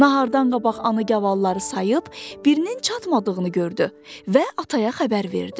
Nahardan qabaq ana gavalları sayıb, birinin çatmadığını gördü və ataya xəbər verdi.